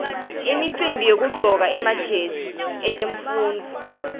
imicimbi yekuqcoka emajazi etemfundvo